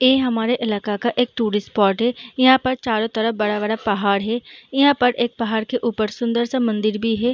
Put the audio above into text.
ऐ हमारे इलाका एक टूरिस्ट स्पॉट है इहाँ पर चारों तरफ बड़ा-बड़ा पहाड़ है इहाँ पर एक पहाड़ के ऊपर सुंदर सा मंदिर भी है।